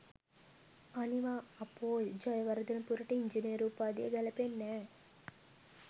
අනිවා! අපෝයි! ජයවර්ධනපුරට ඉංජිනේරු උපාධිය ගැලපෙන්නෑ.